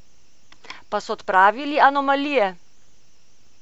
Pa so odpravili anomalije?